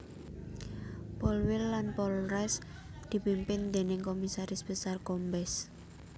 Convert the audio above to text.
Polwil lan Polres dipimpin déning Komisaris Besar Kombes